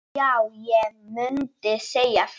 Já, ég mundi segja það.